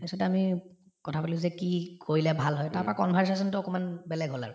তাৰপিছত আমি কথাপাতিলো যে কি কৰিলে ভাল হয় তাৰপৰা conversation তো অলপমান বেলেগ হল আৰু